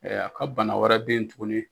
Ɛ a ka bana wɛrɛ bɛ ye tugunni.